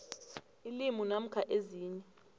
ilimu namkha ezinye